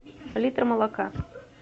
литр молока